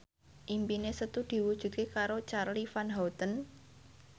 impine Setu diwujudke karo Charly Van Houten